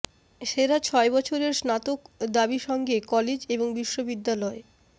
সেরা ছয় বছরের স্নাতক দাবী সঙ্গে কলেজ এবং বিশ্ববিদ্যালয়